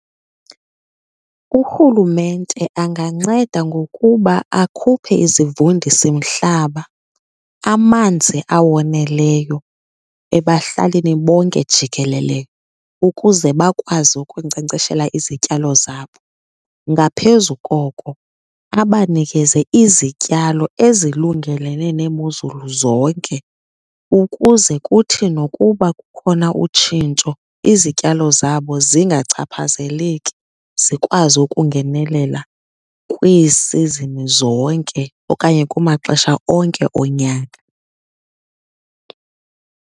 Urhulumente anganceda ngokuba akhuphe izivundisimhlaba, amanzi awoneleyo ebahlalini bonke jikelele ukuze bakwazi ukunkcenkceshela izityalo zabo. Ngaphezu koko abanikeze izityalo ezilungelene neemozulu zonke ukuze kuthi nokuba kukhona utshintsho izityalo zabo zingachaphazeleki, zikwazi ukungenelela kwiisizini zonke okanye kumaxesha onke onyaka.